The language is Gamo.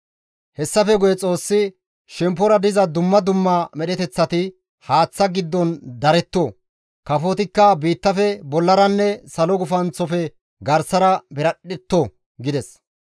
Hessafe guye Xoossi, «Shemppora diza dumma dumma medheteththati haaththa giddon daretto; kafotikka biittafe bollaranne salo gufanththofe garsara piradhdhetto» gides.